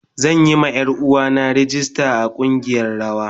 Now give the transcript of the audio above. Zan yi ma Yaruwa na rag ista a kungiyar rawa.